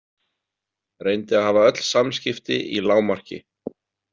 Reyndi að hafa öll samskipti í lágmarki.